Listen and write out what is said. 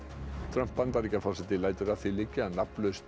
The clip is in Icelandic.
Trump Bandaríkjaforseti lætur að því liggja að nafnlaust